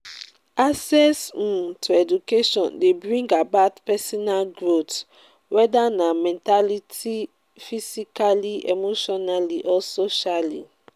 access um to education de bring about personal growth whether na mentality physically emotionall or socially